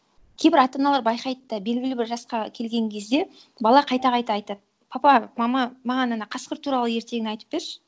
кейбір ата аналар байқайды да белгілі бір жасқа келген кезде бала қайта қайта айтады папа мама маған ана қасқыр туралы ертегіні айтып берші